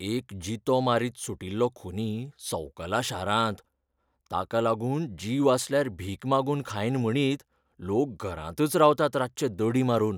एक जितो मारीत सुटिल्लो खुनी संवकला शारांत. ताका लागून जीव आसल्यार भीक मागून खायन म्हणीत, लोक घरांतच रावतात रातचे दडी मारून.